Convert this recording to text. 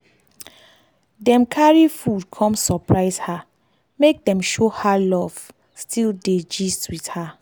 dem carry food come surprise her make dem show her love still dey gist with her